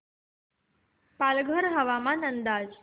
पालघर हवामान अंदाज